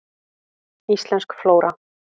Íslensk flóra.